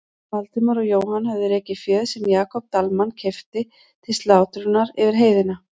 Valdimar og Jóhann höfðu rekið féð sem Jakob Dalmann keypti til slátrunar yfir heiðina.